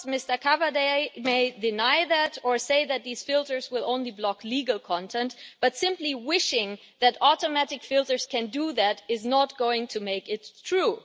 Mr Cavada may deny that, or say that these filters will only block legal content, but simply wishing that automatic filters can do that is not going to make it true.